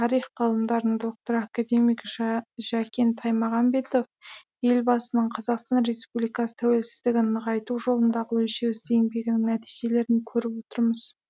тарих ғылымдарының докторы академик жәкен таймағанбетов елбасының қазақстан республикасы тәуелсіздігін нығайту жолындағы өлшеусіз еңбегінің нәтижелерін көріп отырмыз